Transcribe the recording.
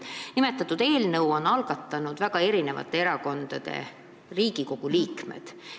Nimetatud eelnõu on algatanud väga erinevatesse erakondadesse kuuluvad Riigikogu liikmed.